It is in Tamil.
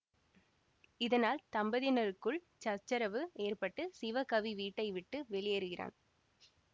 இதனால் தம்பதியினருக்குள் சச்சரவு ஏற்பட்டு சிவகவி வீட்டை விட்டு வெளியேறுகிறான்